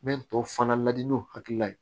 N bɛ tɔ fana ladi n'u hakilila ye